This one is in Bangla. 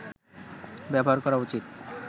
ব্যবহার করা উচিৎ